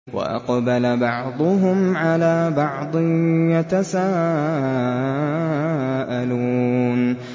وَأَقْبَلَ بَعْضُهُمْ عَلَىٰ بَعْضٍ يَتَسَاءَلُونَ